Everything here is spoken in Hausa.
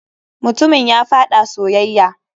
Mutumin ya faɗa soyayya.